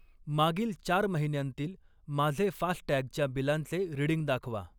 मागील चार महिन्यांतील माझे फास्टॅगच्या बिलांचे रीडिंग दाखवा.